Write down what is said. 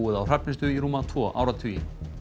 á Hrafnistu í rúma tvo áratugi